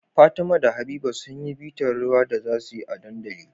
Fatima da habiba sunyi bitar rawar da zasuyi a dandali